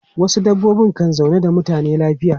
Wasu dabbobi kan zauna da mutane lafiya.